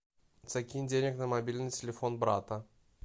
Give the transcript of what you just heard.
закинь денег на мобильный телефон брата